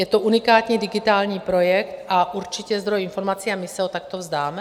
Je to unikání digitální projekt a určitě zdroj informací, a my se ho takto vzdáme?